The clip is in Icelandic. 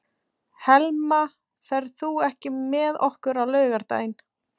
Helma, ferð þú með okkur á laugardaginn?